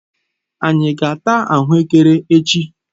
Anyi ga-ata ahuekere echi?